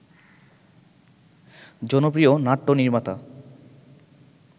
জনপ্রিয় নাট্যনির্মাতা